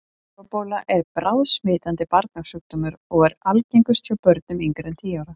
Hlaupabóla er bráðsmitandi barnasjúkdómur og er algengust hjá börnum yngri en tíu ára.